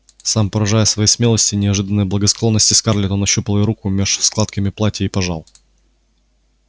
сам поражаясь своей смелости и неожиданной благосклонности скарлетт он нащупал её руку меж складками платья и пожал